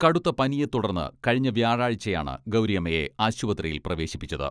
കടുത്ത പനിയെ തുടുർന്ന് കഴിഞ്ഞ വ്യാഴാഴ്ചയാണ് ഗൗരിയമ്മയെ ആശുപത്രിയിൽ പ്രവേശിപ്പിച്ചത്.